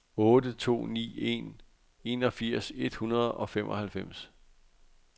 otte to ni en enogfirs et hundrede og femoghalvfems